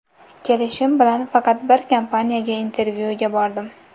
Kelishim bilan faqat bir kompaniyaga intervyuga bordim.